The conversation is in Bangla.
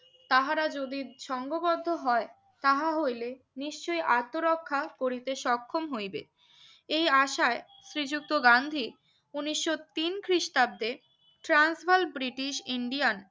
তাহারা যদি সংবদ্ধ হয় তাঁহা হইলে নিশ্চয়ই আত্মরক্ষা করিতে সক্ষম হইবে এই আশায় শ্রী যুক্ত গান্ধী উনিশশো তিন খ্রিস্টাব্দে ট্রান্স বাল ব্রিটিশ ইন্ডিয়ান